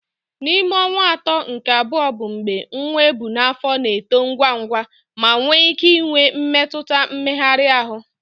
N'ime ọnwa atọ nke abụọ bụ mgbe nwa ebu n'afọ na-eto ngwa ngwa ma nwee ike inwe mmetụta mmegharị ahụ.